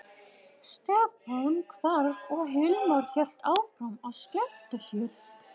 Stefán hvarf og Hilmar hélt áfram að skemmta sér.